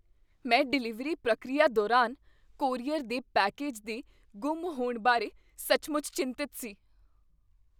ਮੈਂ ਡਿਲੀਵਰੀ ਪ੍ਰਕਿਰਿਆ ਦੌਰਾਨ ਕੋਰੀਅਰ ਦੇ ਪੈਕੇਜ ਦੇ ਗੁੰਮ ਹੋਣ ਬਾਰੇ ਸੱਚਮੁੱਚ ਚਿੰਤਤ ਸੀ।